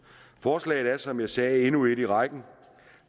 forslaget er som jeg sagde endnu et i rækken